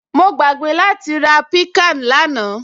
Mo gbàgbé láti ra piccan lánàá